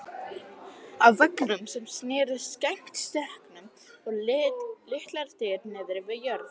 Á veggnum sem sneri gegnt stekknum voru litlar dyr niðri við jörð.